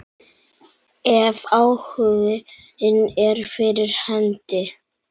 Ef áhuginn er fyrir hendi.